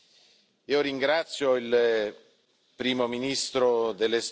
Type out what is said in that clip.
Ringrazio il Primo ministro dell'Estonia